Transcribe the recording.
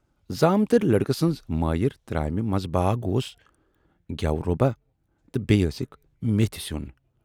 زامٕترۍ لٔڑکہٕ سٕنزِ مایرِ ترامہِ منزباگ اوس گٮ۪وٕ روبا تہٕ بییہِ ٲسٕکھ میٖتھۍ سیون۔